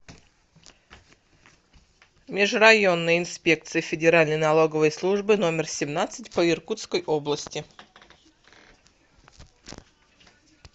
межрайонная инспекция федеральной налоговой службы номер семнадцать по иркутской области